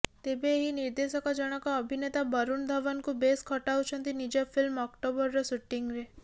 ତେବେ ଏହି ନିର୍ଦ୍ଦେଶକ ଜଣକ ଅଭିନେତା ବରୁଣ ଧୱନଙ୍କୁ ବେଶ ଖଟାଉଛନ୍ତି ନିଜ ଫିଲ୍ମ ଅକ୍ଟୋବରର ସୁଟିଂରେ